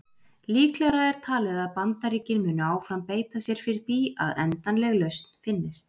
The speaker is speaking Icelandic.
Líklegra er talið að Bandaríkin muni áfram beita sér fyrir því að endanleg lausn finnist.